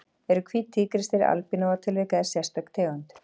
Eru hvít tígrisdýr albinóa tilvik eða sérstök tegund?